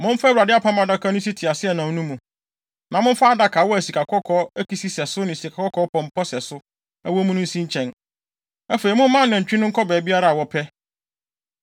Momfa Awurade Apam Adaka no nsi teaseɛnam no mu, na momfa adakawa a sikakɔkɔɔ akisi sɛso ne sikakɔkɔɔ pɔmpɔ sɛso wɔ mu no nsi nkyɛn. Afei, momma anantwi no nkɔ baabiara a wɔpɛ.